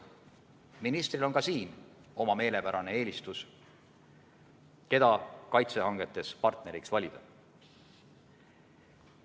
Ministril on ka selles vallas oma meelepärane eelistus, keda kaitsehangetes partneriks valida.